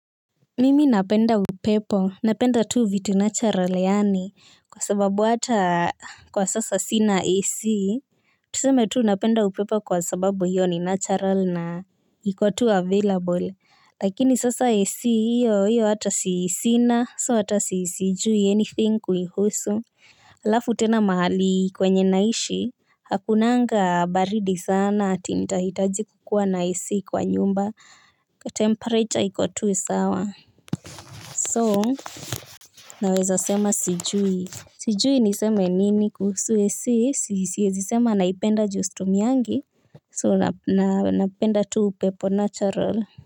Mimi napenda upepo, napenda tu vitu natural yaani, kwa sababu hata kwa sasa sina AC. Tuseme tu napenda upepo kwa sababu hiyo ni natural na iko tu available, lakini sasa AC hiyo hiyo hata sina, so hata sijui anything kuihusu. Alafu tena mahali kwenye naishi, hakunanga baridi sana ati nitahitaji kukuwa na AC kwa nyumba, temperature iko tu sawa. So naweza sema sijui sijui niseme nini kuhusu AC, siezi sema naipenda juu situmiangi so napenda tu upepo natural.